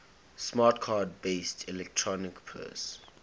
smart card based electronic purse